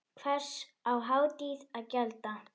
Hvers á Haítí að gjalda?